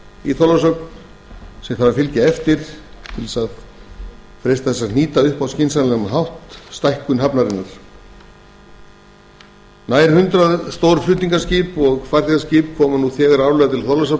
í þorlákshöfn en því þarf að fylgja eftir til að freista þess að nýta stækkun hafnarinnar á skynsamlegan hátt nær hundrað stór flutningaskip og farþegaskip koma nú þegar árlega til